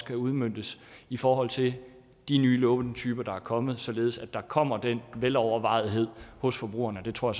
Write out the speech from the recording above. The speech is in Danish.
kan udmøntes i forhold til de nye lånetyper der er kommet således at der kommer den velovervejethed hos forbrugerne det tror